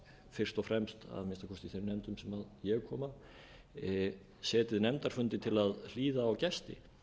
fyrst og fremst að minnsta kosti í þeim nefndum sem ég kom að setið nefndarfundi til að hlýða á gesti